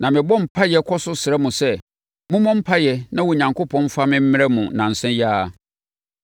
Na mebɔ mpaeɛ kɔ so srɛ mo sɛ, mommɔ mpaeɛ na Onyankopɔn mfa me mmrɛ mo nnansa yi ara.